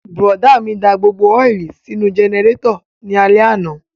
Bùrọ̀dá mi da gbogbo ọ́ìlì sínú jẹnẹrétọ̀ ní alẹ́ àná